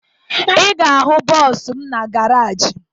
Ị ga-ahụ bọọsụ m na garaajị